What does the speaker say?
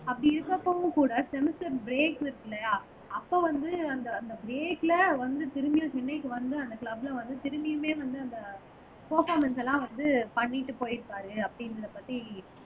அப்படி இருக்கிறப்பவும் கூட செமெஸ்டர் ப்ரேக் இருக்கு இல்லையா அப்ப வந்து அந்த அந்த ப்ரேக்ல வந்து திரும்பியும் சென்னைக்கு வந்து, அந்த க்ளப்ல வந்து திரும்பியுமே வந்து அந்த பர்பாமன்ஸ் எல்லாம் வந்து பண்ணிட்டு போயிருக்காரு அப்படிங்கிறதை பத்தி